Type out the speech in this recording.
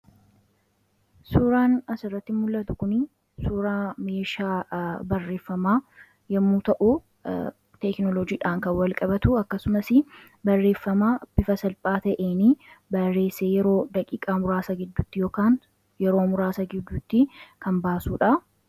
suuraan asirratti mul'atu kunii suuraa meeshaa barreeffamaa yommuu ta'u teeknolojiidhaan kan walqabatu akkasumas barreeffamaa bifa salphaa ta'eenii bareessee yeroo daqiqaa muraasa giddutti ykn yeroo muraasa giddutti kan baasuudha